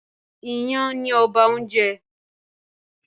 Ìyàn ni ọba oúnjẹ